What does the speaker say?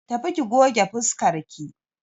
Tafi ki goge fuskarki!